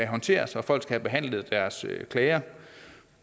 håndteres og folk skal have behandlet deres klager